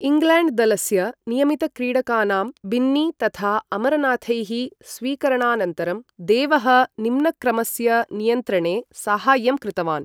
England दलस्य नियमितक्रीडकानां बिन्नी तथा अमरनाथैः स्वीकरणानन्तरं, देवः निम्नक्रमस्य नियन्त्रणे साहाय्यं कृतवान्।